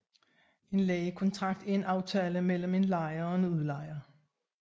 En lejekontrakt er en aftale mellem en lejer og en udlejer